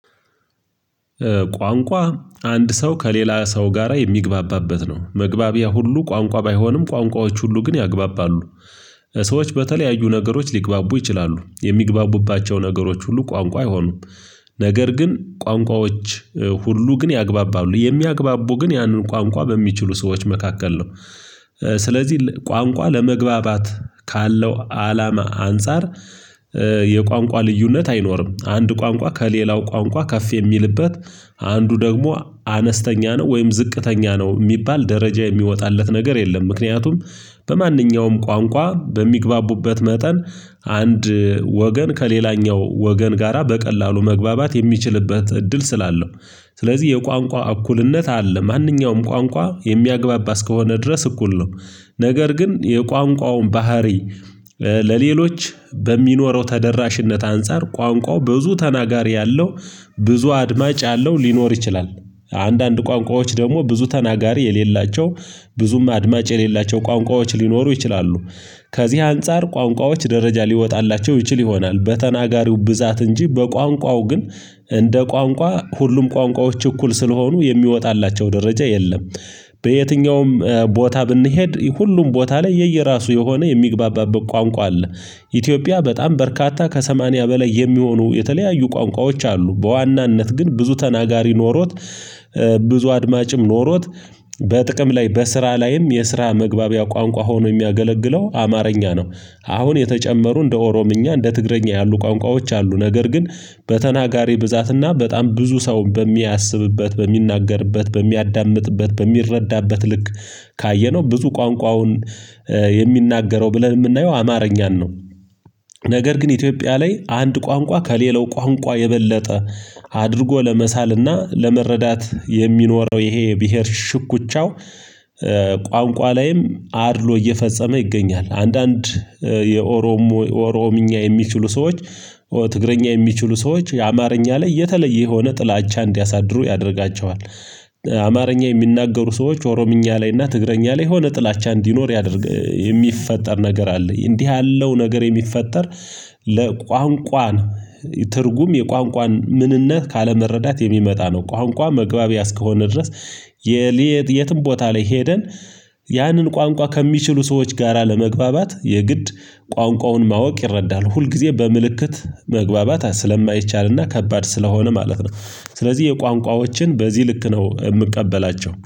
ቋንቋ አንድ ሰው ከሌላ ሰው ጋራ የሚግባባበት ነው መግባቢያ ሁሉ ቋንቋ ባይሆንም ቋንቋዎች ሁሉ ግን ያግባባሉ። ሰዎች በተለያዩ ነገሮች ሊግባቡ ይችላሉ የሚግባቡባቸው ነገሮች ሁሉ ቋንቋ አይሆኑም። ነገር ግን ቋንቋዎች ሁሉ ግን ያግባባሉ የሚያግባቡ ግን ያንን ቋንቋ በሚችሉ ሰዎች መካከል ነው። ስለዚህ ቋንቋ ለመግባባት ካለው አላማ አንፃር። የቋንቋ ልዩነት አይኖርም አንድ ቋንቋ ከሌላው ቋንቋ ከፍ የሚልበት አንዱ ደግሞ አነስተኛ ነው ወይም ዝቅተኛ ነው የሚባል ደረጃ የሚወጣለት ነገር የለም። ምክንያቱም በማንኛውም ቋንቋ በሚግባቡበት መጠን አንድ ወገን ከሌላኛው ወገን ጋራ በቀላሉ መግባባት የሚችልበት እድል ስላለው። ስለዚህ የቋንቋ እኩልነት አለ ማንኛውም ቋንቋ የሚያግባባ እስከሆነ ድረስ እኩል ነው። ነገር ግን የቋንቋውን ባህሪ ለሌሎች በሚኖረው ተደራሽነት አንፃር ቋንቋው ብዙ ተናጋሪ ያለው ብዙ አድማጭ ያለው ሊኖር ይችላል። አንዳንድ ቋንቋዎች ደግሞ ብዙ ተናጋሪ የሌላቸው ብዙም አድማጭ የሌላቸው ቋንቋዎች ሊኖሩ ይችላሉ። ከዚህ አንፃር ቋንቋዎች ደረጃ ሊወጣላቸው ይችል ይሆናል በተናጋሪው ብዛት እንጂ በቋንቋው ግን እንደ ቋንቋ ሁሉም ቋንቋዎች እኩል ስለሆኑ የሚወጣላቸው ደረጃ የለም። በየትኛውም ቦታ ብንሄድ ሁሉም ቦታ ላይ የየራሱ የሆነ የሚግባባበት ቋንቋ አለ። ኢትዮጵያ በጣም በርካታ ከሰማንያ በላይ የሚሆኑ የተለያዩ ቋንቋዎች አሉ። በዋናነት ግን ብዙ ተናጋሪ ኖሮት ብዙ አድማጭም ኖሮት በጥቅም ላይ በስራ ላይም የስራ መግባቢያ ቋንቋ ሆኖ የሚያገለግለው አማርኛ ነው። አሁን የተጨመሩ እንደ ኦሮምኛ እንደ ትግርኛ ያሉ ቋንቋዎች አሉ። ነገር ግን በተናጋሪ ብዛትና በጣም ብዙ ሰው በሚያስብበት በሚናገርበት በሚያዳምጥበት በሚረዳበት ልክ ካየነው ብዙ ቋንቋውን የሚናገረው ብለን የምናየው አማርኛን ነው። ነገር ግን ኢትዮጵያ ላይ አንድ ቋንቋ ከሌለው ቋንቋ የበለጠ አድርጎ ለመሳልና ለመረዳት የሚኖረው ይሄ ብሄር ሽኩቻው። ቋንቋ ላይም አድሎ እየፈጸመ ይገኛል። አንዳንድ የኦሮሞ ኦሮምኛ የሚችሉ ሰዎች ትግረኛ የሚችሉ ሰዎች የአማርኛ ላይ የተለየ የሆነ ጥላቻ እንዲያሳድሩ ያደርጋቸዋል። አማርኛ የሚናገሩ ሰዎች ኦሮምኛ ላይ እና ትግረኛ ላይ የሆነ ጥላቻ እንዲኖር ያደርግ የሚፈጠር ነገር አለ። እንዲህ ያለው ነገር የሚፈጠር ለቋንቋ ትርጉም የቋንቋ ምንነት ካለመረዳት የሚመጣ ነው። ቋንቋ መግባቢያ እስከሆነ ድረስ የሌት የትም ቦታ ላይ ሄደን ያንን ቋንቋ ከሚችሉ ሰዎች ጋራ ለመግባባት የግድ ቋንቋውን ማወቅ ይረዳሉ ሁልጊዜ በምልክት መግባባት ስለማይቻልና ከባድ ስለሆነ ማለት ነው። ስለዚህ የቋንቋዎችን በዚህ ልክ ነው የምቀበላቸው